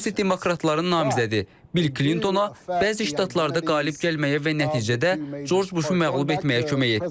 Bu isə demokratların namizədi Bill Klintona bəzi ştatlarda qalib gəlməyə və nəticədə Corc Buşu məğlub etməyə kömək etdi.